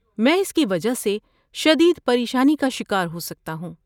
میں اس کی وجہ سے شدید پریشانی کا شکار ہو سکتا ہوں۔